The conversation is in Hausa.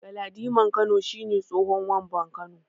Galadiman Kano shi ne tsohon Wamban Kano.